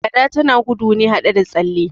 Gada tana gudu ne haɗe da tsalle